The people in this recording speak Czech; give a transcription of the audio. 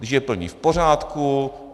Když je plní, v pořádku.